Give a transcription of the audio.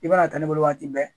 I bɛna taa ne bolo waati bɛɛ